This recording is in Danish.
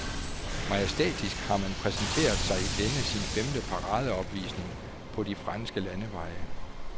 Majestætisk har han præsenteret sig i denne sin femte paradeopvisning på de franske landeveje.